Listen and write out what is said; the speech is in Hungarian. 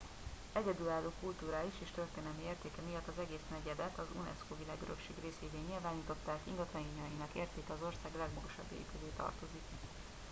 egyedülálló kulturális és történelmi értéke miatt az egész negyedet az unesco világörökség részévé nyilvánították ingatlanjainak értéke az ország legmagasabbjai közé tartozik